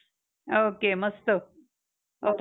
okay. मस्त. okay okay.